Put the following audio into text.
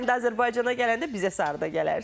Bura gələndə, Azərbaycana gələndə bizə sarıda gələrsiz.